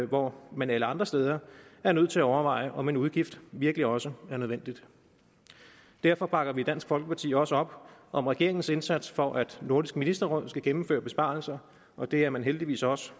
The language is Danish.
hvor man alle andre steder er nødt til at overveje om en udgift virkelig også er nødvendig derfor bakker vi i dansk folkeparti også op om regeringens indsats for at nordisk ministerråd skal gennemføre besparelser og det er man heldigvis også